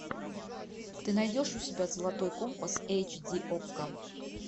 ты найдешь у себя золотой компас эйч ди окко